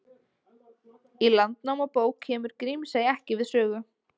Í Landnámabók kemur Grímsey ekki við sögu.